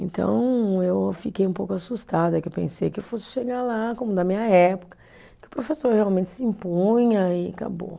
Então, eu fiquei um pouco assustada, que eu pensei que eu fosse chegar lá, como na minha época, que o professor realmente se impunha e acabou.